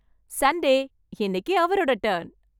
Sunday, இன்னைக்கு அவரோட turn.